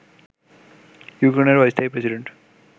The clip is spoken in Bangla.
ইউক্রেনের অস্থায়ী প্রেডিন্টে